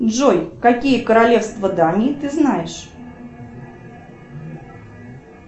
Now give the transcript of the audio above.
джой какие королевства дании ты знаешь